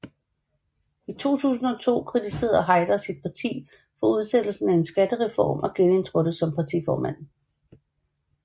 I 2002 kritiserede Haider sit parti for udsættelsen af en skattereform og genindtrådte som partiformand